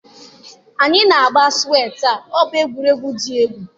anyi na agba suwe taa,o bu egwuregwu di egwu.